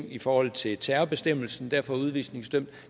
i forhold til terrorbestemmelsen derfor er udvisningsdømt